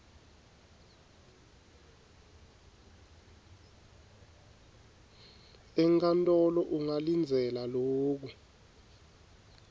enkantolo ungalindzela loku